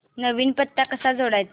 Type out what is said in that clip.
नवीन पत्ता कसा जोडायचा